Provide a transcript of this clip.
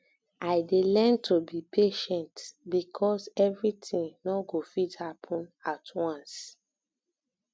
i dey um learn to be patient because everything no go fit happen at once